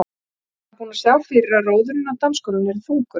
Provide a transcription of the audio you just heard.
Var búinn að sjá fyrir að róðurinn á dansgólfinu yrði þungur.